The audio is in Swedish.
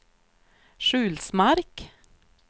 Sjulsmark